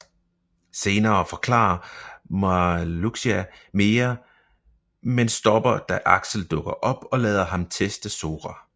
Senere forklare Marluxia mere men stopper da Axel dukker op og lader ham teste Sora